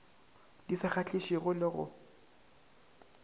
di sa kgahlišego le go